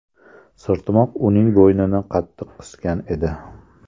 Sirtmoq uning bo‘ynini qattiq qisgan edi.